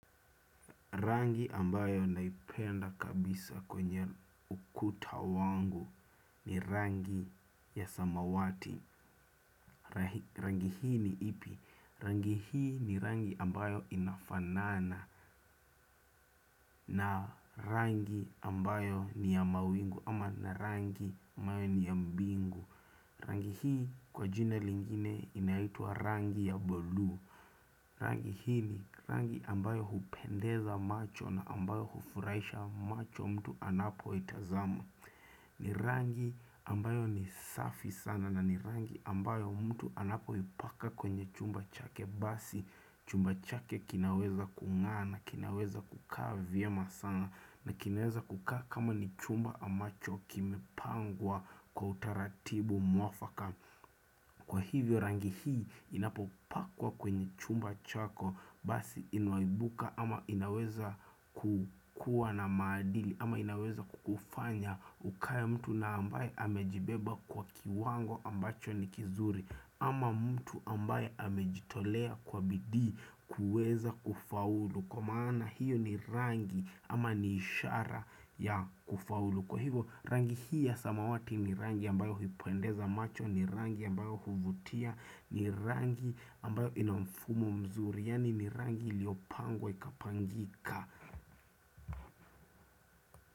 Rangi ambayo naipenda kabisa kwenye ukuta wangu ni rangi ya samawati. Rangi hii ni ipi? Rangi hii ni rangi ambayo inafanana na rangi ambayo niya mawingu ama na rangi ambayo ni ya mbingu. Rangi hii kwa jina lingine inaitwa rangi ya bolu. Rangi hii ni rangi ambayo hupendeza macho na ambayo hufuraisha macho mtu anapo itazama. Ni rangi ambayo ni safi sana na ni rangi ambayo mtu anapo ipaka kwenye chumba chake basi chumba chake kinaweza kunga"a na kinaweza kukaa vyema sana na kinaweza kukaa kama ni chumba ambacho kimepangwa kwa utaratibu mwafaka. Kwa hivyo rangi hii inapopakwa kwenye chumba chako basi inaibuka ama inaweza kukua na madili ama inaweza kufanya ukaye mtu na ambaye amejibeba kwa kiwango ambacho ni kizuri ama mtu ambaye amejitolea kwa bidii kuweza kufaulu. Kwa maana hiyo ni rangi ama niishara ya kufaulu. Kwa hivyo rangi hii ya samawati ni rangi ambayo huipendeza macho. Ni rangi ambayo huvutia. Ni rangi ambayo inamfumo mzuri. Yani ni rangi liopangwa ikapangika.